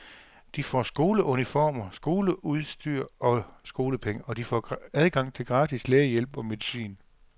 De får skoleuniformer, skoleudstyr og skolepenge, og de får adgang til gratis lægehjælp og medicin.